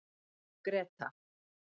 Greta